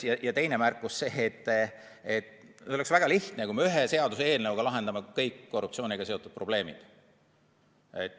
Ja teine märkus: oleks väga lihtne, kui me ühe seaduseelnõuga lahendame kõik korruptsiooniga seotud probleemid.